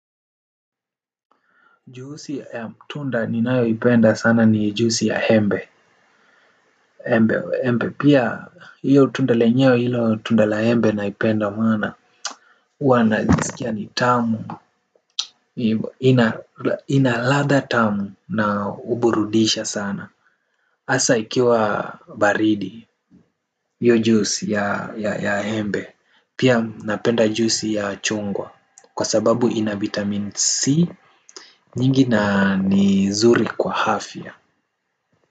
Juisi ya tunda ninayoipenda sana ni juisi ya embe embe pia hiyo tunda lenyewe hilo tunda la embe naipenda maana huwa nasikia ni tamu, ina ladha tamu na huburudisha sana. Hasa ikiwa baridi, hiyo juisi ya embe. Pia napenda juisi ya chungwa kwa sababu ina vitamin C nyingi na ni zuri kwa afya.